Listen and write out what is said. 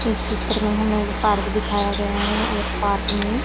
इस चित्र में हमें एक पार्क दिखाया गया है और पार्क में--